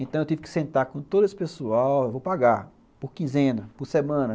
Então, eu tive que sentar com todo esse pessoal, vou pagar por quinzena, por semana.